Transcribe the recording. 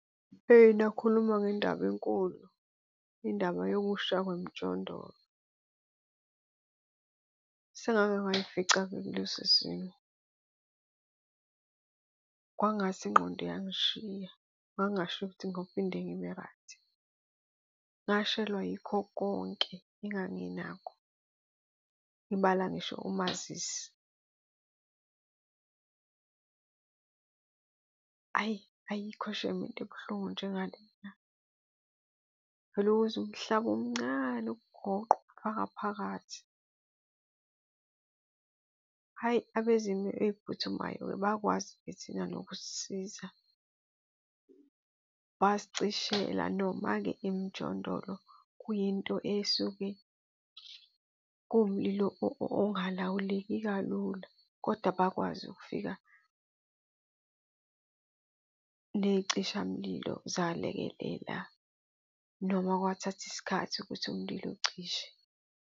Eyi nakhuluma ngendaba enkulu, indaba yokusha kwemijondolo. Sengakengayifica-ke kuleso simo, kwangathi ingqondo iyangishiya, ngangasho ukuthi ngophinde ngibe-right. Ngashelwa yikho konke enganginakho, ngibala ngisho umazisi. Ayi, ayikho shame into ebuhlungu njengalena. Uvele uwuzwe umhlaba umncane ukugoqa ukufaka phakathi. Hhayi, abezimo ey'phuthumayo bakwazi-ke thina nokusisiza, basicishela noma-ke imjondolo kuyinto esuke kuwumlilo ongalawuleki kalula kodwa bakwazi ukufika ney'cishamlilo zalekelela. Noma kwathatha isikhathi ukuthi umlilo ucishe.